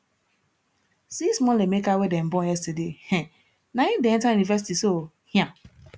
see small emeka wey dem born yesterday um naim dey enta university so um